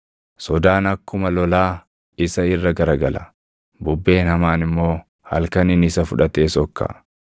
Sodaan akkuma lolaa isa irra garagala; bubbeen hamaan immoo halkaniin isa fudhatee sokka.